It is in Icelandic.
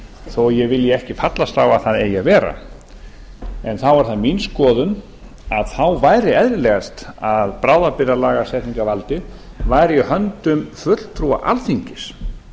þó ég vilji ekki fallast á að það eigi að vera þá er það mín skoðun að þá væri eðlilegast að bráðabirgðalagasetningarvaldið væri í höndum fulltrúa alþingis